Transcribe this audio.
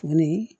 Tuguni